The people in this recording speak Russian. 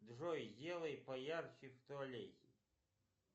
джой сделай поярче в туалете